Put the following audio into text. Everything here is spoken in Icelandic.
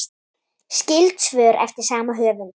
Skyld svör eftir sama höfund